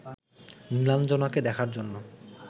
নীলাঞ্জনাকে দেখার জন্য